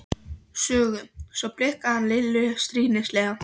Sögu., svo blikkaði hann Lillu stríðnislega.